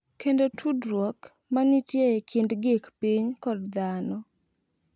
Kendo tudruok ma nitie e kind gik piny kod dhano.